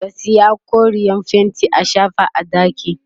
ka Sayo koreyar fainti a shafa a ɗakin